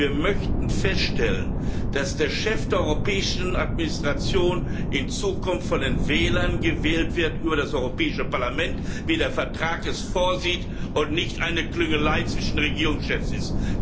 Wir möchten feststellen, dass der Chef der europäischen Administration in Zukunft von den Wählern über das Europäische Parlament gewählt wird, wie der Vertrag es vorsieht, und das nicht eine Klüngelei zwischen Regierungschefs ist.